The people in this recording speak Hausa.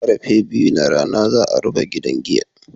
Karfe biyu na rana za'a rufe gidan giyan.